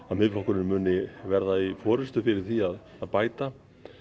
að Miðflokkurinn muni vera í fyrir því að bæta